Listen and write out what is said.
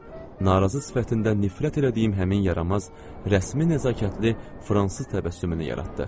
Narazı sifətindən nifrət etdiyim həmin yaramaz, rəsmi nəzakətli fransız təbəssümünü yaratdı.